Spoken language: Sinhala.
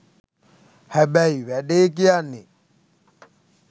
හැබැයි වැඩේ කියන්නෙ